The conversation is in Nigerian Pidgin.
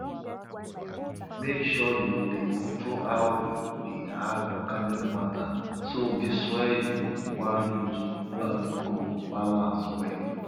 make sure you dey control how you dey add organic matter so di soil you wan use plant go balance well